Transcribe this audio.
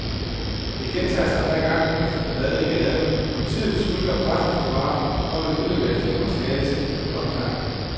Det gentager sig hver gang efter ballade i gaden, at politiet trygler pressefotografer om at udlevere filmmateriale til brug ved opklaringen.